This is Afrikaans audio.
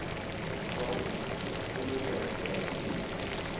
ontvang ondersteunende terapie